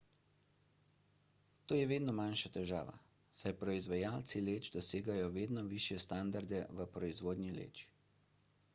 to je vedno manjša težava saj proizvajalci leč dosegajo vedno višje standarde v proizvodnji leč